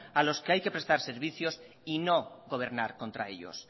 a los que hay que prestar servicios y no gobernar contra ellos